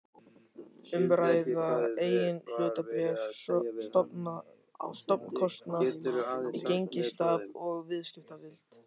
um að ræða eigin hlutabréf, stofnkostnað, gengistap og viðskiptavild.